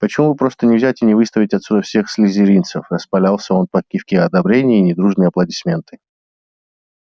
почему бы просто не взять и не выставить отсюда всех слизеринцев распалялся он под кивки одобрения и недружные аплодисменты